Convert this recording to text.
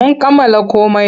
Mun kammala komai.